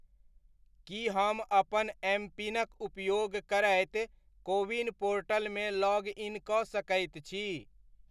की हम अपन एमपिनक उपयोग करैत कोविन पोर्टल मे लॉग इन कऽ सकैत छी ?